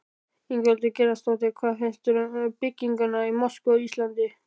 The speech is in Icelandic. Ingveldur Geirsdóttir: Hvað finnst þér um byggingu mosku á Íslandi?